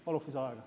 Palun lisaaega.